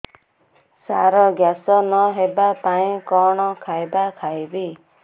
ସାର gas ନ ହେବା ପାଇଁ କଣ ଖାଇବା ଖାଇବି